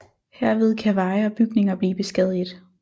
Herved kan veje og bygninger blive beskadiget